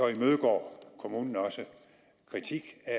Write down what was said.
imødegår kommunen også kritik af